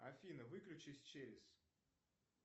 афина выключись через